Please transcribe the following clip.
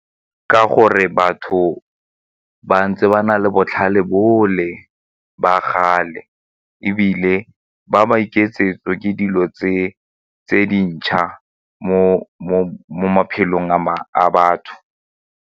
Ka gore batho ba ntse ba na le botlhale bole ba kgale ebile ba maiketsetso ke dilo tse dintšha mo maphelong a batho.